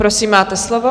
Prosím, máte slovo.